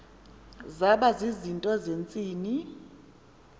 zaba zizinto zentsini